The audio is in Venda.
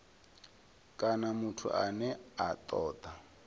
kana muthu ane a toda